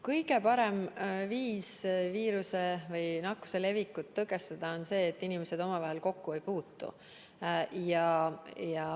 Kõige parem viis viiruse või nakkuse levikut tõkestada on see, et inimesed omavahel kokku ei puutu.